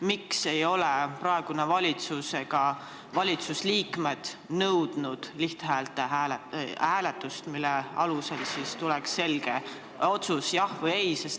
Miks ei ole praegune valitsus ega valitsusliikmed nõudnud lihthäältega hääletust, mille alusel tuleks selge otsus, jah või ei?